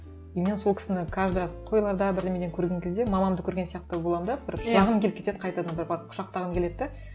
и мен сол кісіні каждый раз тойларда бірдеңеден көрген кезде мамамды көрген сияқты боламын да бір жылағым келіп кетеді қайтадан да барып құшақтағым келеді де